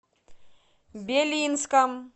белинском